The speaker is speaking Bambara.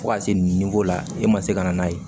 Fo ka se nin ko la e ma se ka n'a ye